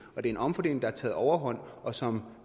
og det er en omfordeling der har taget overhånd og som